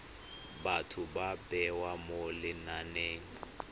batho ba bewa mo lenaneng